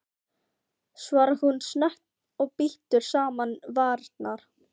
svarar hún snöggt og bítur saman varirnar.